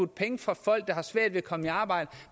penge fra folk der har svært ved at komme i arbejde